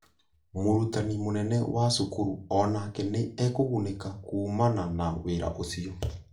Mũrutani mũnene wa cukuru o nake nĩ ekũgunĩka kuumana na wĩra ũcio.